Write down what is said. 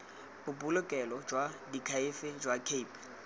bobolokelo jwa diakhaefe jwa cape